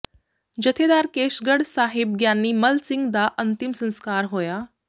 ਜਥੇਦਾਰ ਕੇਸ਼ਗੜ੍ਹ ਸਾਹਿਬ ਗਿਆਨੀ ਮੱਲ ਸਿੰਘ ਦਾ ਅੰਤਿਮ ਸੰਸਕਾਰ ਹੋਇਆ